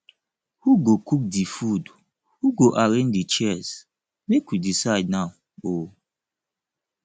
who go cook di food who go arrange di chairs make we decide now o